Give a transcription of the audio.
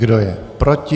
Kdo je proti?